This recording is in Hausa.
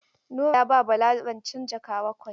Nura ya ba Bala rancen jaka bakwai.